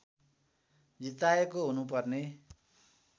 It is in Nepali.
जिताएको हुनुपर्ने